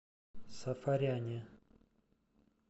сафаряне